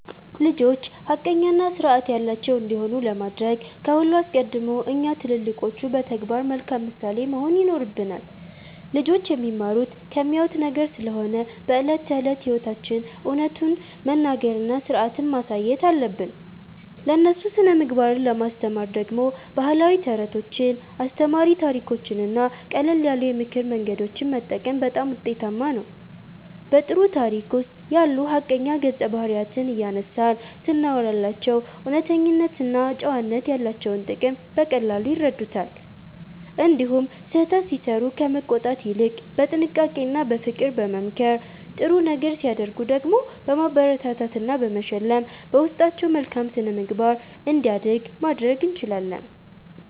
ልጆች ሐቀኛና ሥርዓት ያላቸው እንዲሆኑ ለማድረግ ከሁሉ አስቀድሞ እኛ ትልልቆቹ በተግባር መልካም ምሳሌ መሆን ይኖርብናል። ልጆች የሚማሩት ከሚያዩት ነገር ስለሆነ በዕለት ተዕለት ሕይወታችን እውነቱን መናገርና ሥርዓትን ማሳየት አለብን። ለእነሱ ሥነ-ምግባርን ለማስተማር ደግሞ ባህላዊ ተረቶችን፣ አስተማሪ ታሪኮችንና ቀለል ያሉ የምክር መንገዶችን መጠቀም በጣም ውጤታማ ነው። በጥሩ ታሪክ ውስጥ ያሉ ሐቀኛ ገጸ-ባህሪያትን እያነሳን ስናወራላቸው እውነተኝነትና ጨዋነት ያላቸውን ጥቅም በቀላሉ ይረዱታል። እንዲሁም ስህተት ሲሠሩ ከመቆጣት ይልቅ በጥንቃቄና በፍቅር በመምከር፣ ጥሩ ነገር ሲያደርጉ ደግሞ በማበረታታትና በመሸለም በውስጣቸው መልካም ሥነ-ምግባር እንዲያድግ ማድረግ እንችላለን።